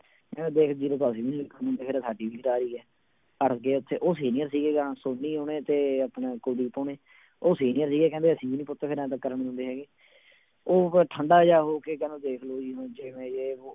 ਕਹਿੰਦਾ ਦੇਖ zero ਤਾਂ ਅਸੀਂ ਵੀ ਨੀ ਲਿਖਣੀ ਕਹਿੰਦਾ ਸਾਡੀ ਵੀ ਗਰਾਰੀ ਹੈ, ਅੜ ਗਏ ਉੱਥੇ ਉਹ senior ਸੀਗੇ ਸੋਨੀ ਹੋਣੀ ਤੇ ਆਪਣੇ ਕੁਲਦੀਪ ਹੋਣੀ ਉਹ senior ਸੀਗੇ ਕਹਿੰਦੇ ਅਸੀਂ ਵੀ ਨੀ ਪੁੱਤ ਫਿਰ ਇਉਂ ਤਾਂ ਕਰਨ ਦਿੰਦੇ ਹੈਗੇ, ਉਹ ਫਿਰ ਠੰਢਾ ਜਿਹਾ ਹੋ ਕੇ ਕਹਿੰਦਾ ਦੇਖ ਲਓ ਜੀ ਹੁਣ ਜਿਵੇਂ ਜੇ ਵੋਹ